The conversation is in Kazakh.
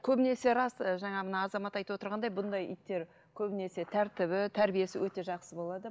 көбінесе рас ы жаңа мына азамат айтып отырғандай бұндай иттер көбінесе тәртібі тәрбиесі өте жақсы болады